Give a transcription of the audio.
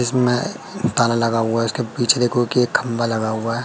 जिसमें ताला लगा हुआ उसके पीछे देखो कि एक खंभा लगा हुआ है।